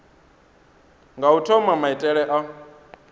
nga u thoma maitele a